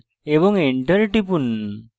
enter টিপুন